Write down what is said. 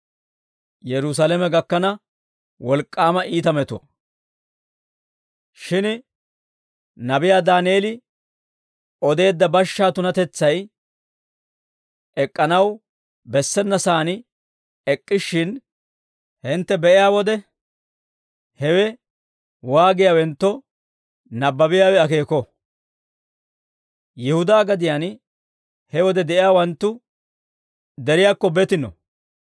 Shin nabiyaa Daaneel odeedda bashshaa tunatetsay ek'k'anaw bessenasan ek'k'ishshin hintte be'iyaa wode, hewe waagiyaawentto, nabbabiyaawe akeeko; Yihudaa gadiyaan he wode de'iyaawanttu deriyaakko betino.